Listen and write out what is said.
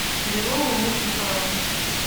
веруней никифоровой